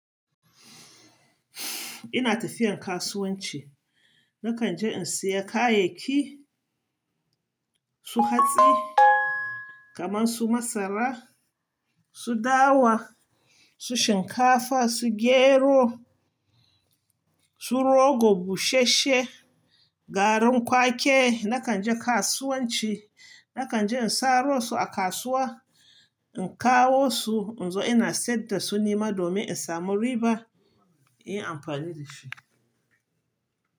Ina tafiyan kasuwanci. Nakan je in saya kayayyaki, su hatsi, kaman su masara, su dawa, su shinkafa, su gero, su rogo, bushe she, garin kwake. Nakan je kasuwanci. Nakan je in saro su a kasuwa, in kawo su, in zo ina sayar da su nema domin in samu riba, in yi amfani da shi.